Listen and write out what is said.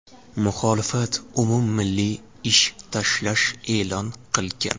Muxolifat umummilliy ish tashlash e’lon qilgan.